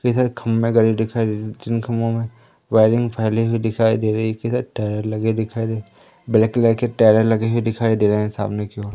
कई सारे खंभे गड़े दिखाई दे जिन खभों में वायरिंग फैली हुई दिखाई दे रही टायर लगे दिखाई दे ब्लैक कलर के टायरे लगे हुए दिखाई दे रहे सामने की ओर--